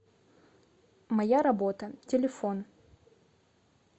моя работа телефон